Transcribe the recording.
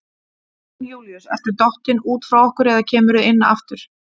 Jón Júlíus ertu dottinn út frá okkur eða kemurðu inn aftur?